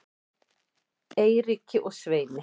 Eiríki og Sveini